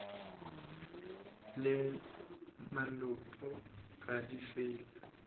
le malopo ga di fele